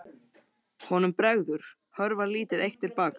Honum bregður, hörfar lítið eitt til baka.